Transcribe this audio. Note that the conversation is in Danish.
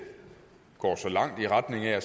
her